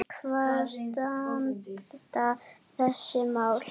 Hvar standa þessi mál?